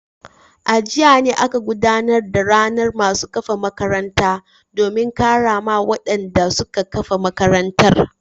A jiya ne aka gudanar da ranar masu kafa makarantar domin karrama wadanda suka kafa makarantar.